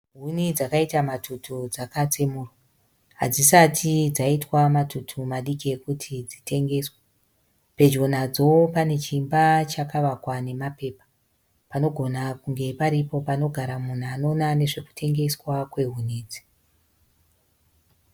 Huni dzakaita matutu dzakatsemurwa, hatsisati dzaitwa matutu madiki ekuti dzitengeswe, pedyo nadzo pane chimba chakavakwa nemapepa panogona kunge paripo panogara munhu anoona zvekutengwa kwehuni idzi.